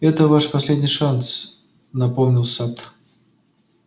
это ваш последний шанс напомнил сатт